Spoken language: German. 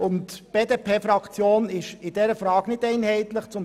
In dieser Frage ist die BDP-Fraktion nicht einheitlicher Meinung.